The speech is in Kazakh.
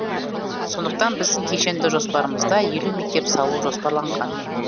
сондықтан біздің кешенді жоспарымызда елу мектеп салу жоспарланған